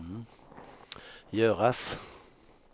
göras